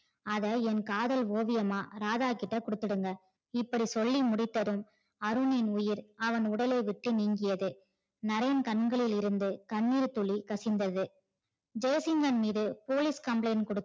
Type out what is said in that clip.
அதை என் காதல் ஓவியமா ராதா கிட்ட குடுத்துருங்க. இப்படி சொல்லி முடித்ததும் அருணின் உயிர் அவன் உடலை விட்டு நீங்கியது. நரேன் கண்களிலிருந்து கண்ணீர் துளிகள் கசிந்தது. ஜெய்சிங்கன் மீது police complaint